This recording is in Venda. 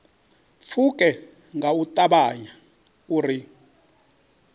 pfuke nga u ṱavhanya uri